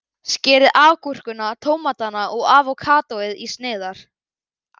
Skerið agúrkuna, tómatana og avókadóið í sneiðar.